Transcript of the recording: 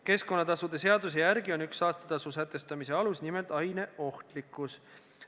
Keskkonnatasude seaduse järgi on üks saastetasu sätestamise alus nimelt aine ohtlikkus.